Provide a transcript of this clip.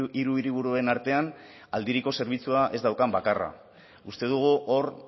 hiru hiriburuen artean aldiriko zerbitzua ez daukan bakarra uste dugu hor